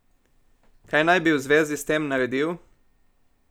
Kaj naj bi v zvezi s tem naredil?